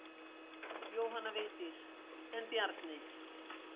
Jóhanna Vigdís: En Bjarni.